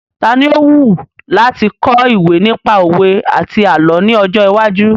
Tani ó wù láti kọ ìwé nípa òwe àti àlọ́ ní ọjọ́ iwájú?